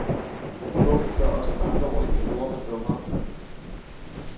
Bogen gør os med andre ord ikke klogere, men dummere.